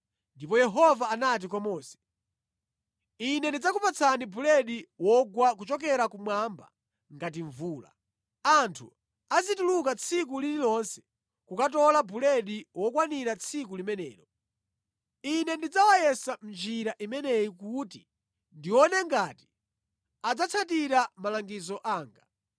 Ndipo Yehova anati kwa Mose, “Ine ndidzakupatsani buledi wogwa kuchokera kumwamba ngati mvula. Anthu azituluka tsiku lililonse kukatola buledi wokwanira tsiku limenelo. Ine ndidzawayesa mʼnjira imeneyi kuti ndione ngati adzatsatira malangizo anga.